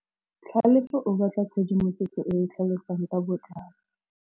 Tlhalefô o batla tshedimosetsô e e tlhalosang ka botlalô.